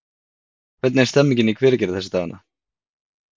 Hvernig er stemningin í Hveragerði þessa dagana?